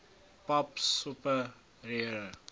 pap soppe roereier